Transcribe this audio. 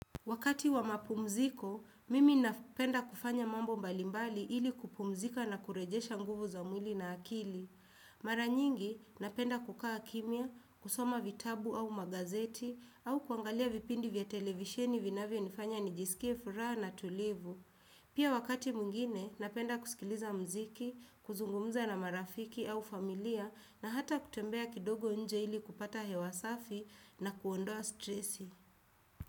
Wakati wa mapumziko, mimi napenda kufanya mambo mbalimbali ili kupumzika na kurejesha nguvu za mwili na akili. Mara nyingi, napenda kukaa kimya, kusoma vitabu au magazeti, au kuangalia vipindi vya televisheni vinavyo nifanya nijisikie furaha na tulivu. Pia wakati mwingine, napenda kusikiliza mziki, kuzungumza na marafiki au familia, na hata kutembea kidogo nje ili kupata hewa safi na kuondoa stressi.